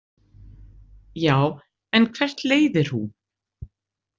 Já, en hvert leiðir hún?